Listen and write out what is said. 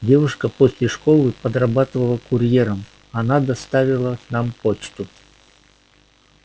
девушка после школы подрабатывала курьером она доставила нам почту